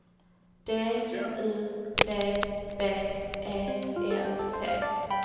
D U B B E L T